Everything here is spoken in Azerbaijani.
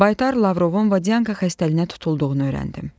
Baytar Lavrovun vodanka xəstəliyinə tutulduğunu öyrəndim.